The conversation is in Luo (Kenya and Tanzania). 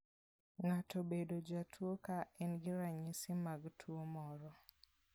Ng'ato bedo jatuo ka en gi ranyisi mag tuo moro.